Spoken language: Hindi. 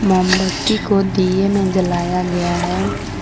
मोमबत्ती को दिए में जलाया गया है।